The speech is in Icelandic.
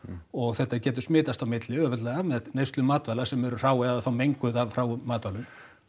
og þetta getur smitast á milli auðveldlega með neyslu matvæla sem eru hrá eða þá menguð af hráum matvælum